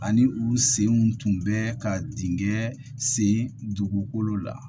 Ani u senw tun bɛ ka dingɛn sen dugukolo la